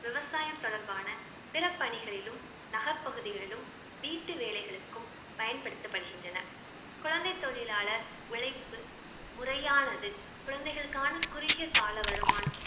விவசாயம் தொடர்பான பிற பணிகளிலும் நகர் பகுதிகளிலும் வீட்டு வேலைகளுக்கும் பயன்படுத்தப்படுகின்றனர். குழந்தை தொழிலாளர் உழைப்பு முறையானது குழந்தைகளுக்கான குறுகிய கால வருமானம்